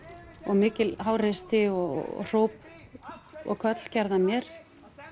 mikil háreysti og hróp og köll gerð að mér